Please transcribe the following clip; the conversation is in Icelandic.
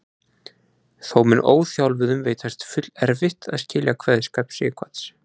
Þó mun óþjálfuðum veitast fullerfitt að skilja kveðskap Sighvats.